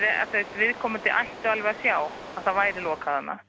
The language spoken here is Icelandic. viðkomandi ætti að sjá að það væri lokað þarna